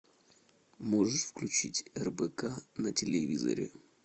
можешь включить рбк на телевизоре